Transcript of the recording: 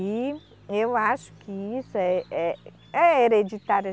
E eu acho que isso é, é, é hereditário.